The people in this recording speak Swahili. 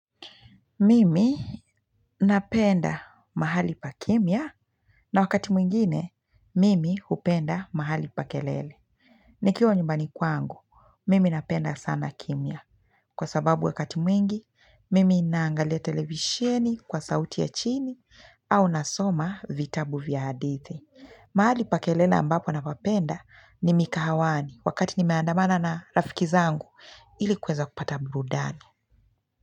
Mimi napenda mahali pa kimya na wakati mwingine, mimi hupenda mahali pa kelele. Nikiwa nyumbani kwangu, mimi napenda sana kimya. Kwa sababu wakati mwingi, mimi naangalia televisheni kwa sauti ya chini au nasoma vitabu vya hadithi. Mahali pa kelele ambapo napapenda ni mikahawani wakati nimeandamana na rafiki zangu ili kuweza kupata burudani.